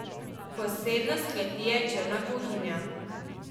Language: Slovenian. Posebnost kleti je črna kuhinja.